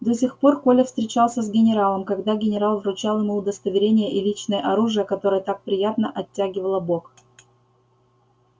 до сих пор коля встречался с генералом когда генерал вручал ему удостоверение и личное оружие которое так приятно оттягивало бок